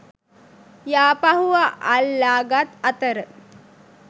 යාපහුව අල්ලා ගත් අතර